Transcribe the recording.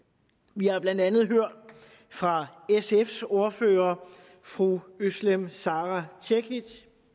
vi har blandt andet hørt fra sfs ordfører fru özlem sara cekic